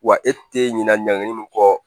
Wa e tɛ ɲinɛ ɲɛnɛni min kɔ